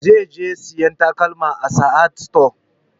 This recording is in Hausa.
Zai je sayan takalma a sahad stores